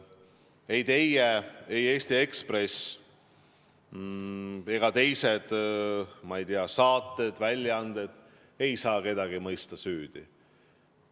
Ei teie, ei Eesti Ekspress ega teised, ma ei tea, saated ega väljaanded ei saa kedagi süüdi mõista.